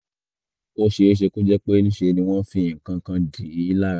ó ṣeé ṣe kó jẹ́ pé ńṣe ni wọ́n ń fi nǹkan kan dì í lára